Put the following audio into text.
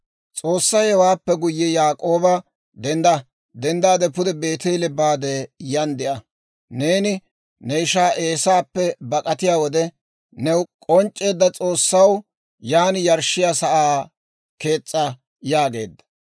S'oossay hewaappe guyye Yaak'ooba, «Denddaade pude Beeteele baade yan de'a. Neeni ne ishaa Eesaappe bak'atiyaa wode new k'onc'c'eedda S'oossaw yan yarshshiyaa sa'aa kees's'a» yaageedda.